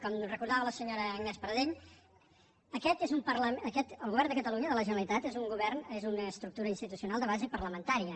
com recordava la senyora agnès pardell el govern de catalunya de la generalitat és un govern és una estructura institucional de base parlamentària